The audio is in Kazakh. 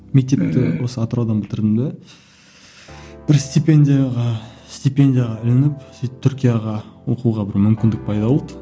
мектепті осы атыраудан бітірдім де бір степендияға степендияға ілініп сөйтіп түркияға оқуға бір мүмкіндік пайда болды